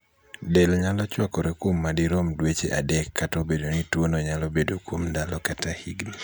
del nyalo chwakore kuom madirom dweche adek kata obedo ni tuono nyalo bedo kuom ndalo kata higni